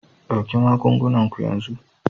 Ɗauki magungunan ku yanzu!